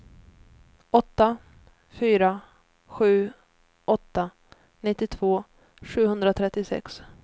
åtta fyra sju åtta nittiotvå sjuhundratrettiosex